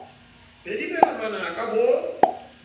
be di mela manaka bo